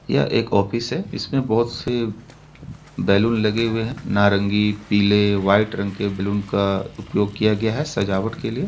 यह एक ऑफिस है इसमें बहुत से बैलून लगे हुऐ है नारंगी पिले वाइट रंग के बैलून का उपयोग किया गया है सजावट के लिए --